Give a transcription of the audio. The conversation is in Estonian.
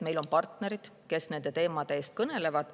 Meil on partnerid, kes nende teemade eest kõnelevad.